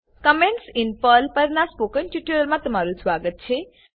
comments in Perl પરના spoken ટ્યુટોરીયલમાં તમારું સ્વાગત છે